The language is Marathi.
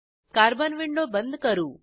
कार्बन विंडो बंद करू